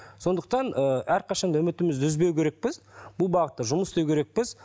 сондықтан ыыы әрқашан да үмітімізді үзбеу керекпіз бұл бағытта жұмыс істеу керекпіз